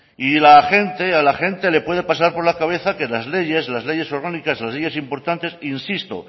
y la gente a la gente le puede pasar por la cabeza que las leyes las leyes orgánicas las leyes importantes insisto